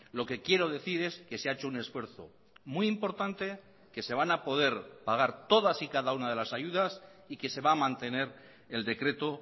lo que quiero decir es que se ha hecho un esfuerzo muy importante que se van a poder pagar todas y cada una de las ayudas y que se va a mantener el decreto